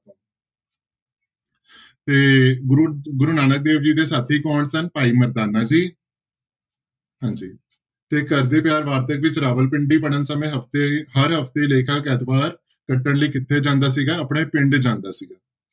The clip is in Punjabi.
ਤੇ ਗੁਰੂ ਗੁਰੂ ਨਾਨਕ ਦੇਵ ਜੀ ਦੇ ਸਾਥੀ ਕੌਣ ਸਨ, ਭਾਈ ਮਰਦਾਨਾ ਜੀ ਹਾਂਜੀ ਤੇ ਘਰਦੇ ਪਿਆਰ ਵਾਰਤਕ ਵਿੱਚ ਰਾਵਲਪਿੰਡੀ ਵੜਨ ਸਮੇਂ ਹਫ਼ਤੇ ਹਰ ਹਫ਼ਤੇ ਲੇਖਕ ਐਤਵਾਰ ਕੱਟਣ ਲਈ ਕਿੱਥੇ ਜਾਂਦਾ ਸੀਗਾ ਆਪਣੇ ਪਿੰਡ ਜਾਂਦਾ ਸੀਗਾ।